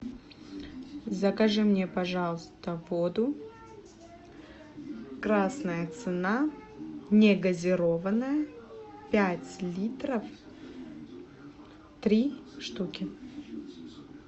закажи мне пожалуйста воду красная цена негазированная пять литров три штуки